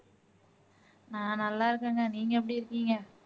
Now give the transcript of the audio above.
நல்லா இருக்கேங்க நீங்க எப்படி இருக்கீங்க